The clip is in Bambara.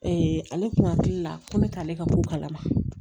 ale kun hakili la ko ne t'ale ka bɔ kalama